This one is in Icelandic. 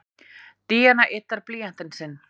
Díana yddar blýantinn sinn.